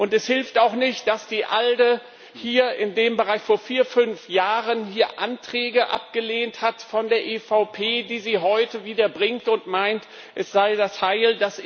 Es hilft auch nicht, dass die ALDE hier in dem Bereich vor vier, fünf Jahren Anträge von der EVP abgelehnt hat, die sie heute wieder bringt und meint, es sei das Heil.